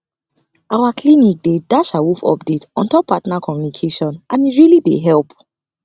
our clinic dey dash awoof update ontop partner communication and e really dey help